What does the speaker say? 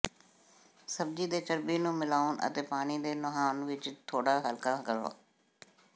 ਸਬਜ਼ੀ ਦੇ ਚਰਬੀ ਨੂੰ ਮਿਲਾਓ ਅਤੇ ਪਾਣੀ ਦੇ ਨਹਾਉਣ ਵਿੱਚ ਥੋੜਾ ਹਲਕਾ ਕਰੋ